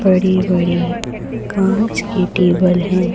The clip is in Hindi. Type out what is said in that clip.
बड़ी बड़ी कांच के टेबल हैं।